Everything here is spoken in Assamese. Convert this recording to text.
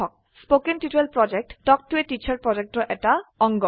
কথন শিক্ষণ প্ৰকল্প তাল্ক ত a টিচাৰ প্ৰকল্পৰ এটা অংগ